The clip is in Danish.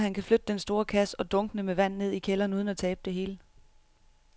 Tror du, at han kan flytte den store kasse og dunkene med vand ned i kælderen uden at tabe det hele?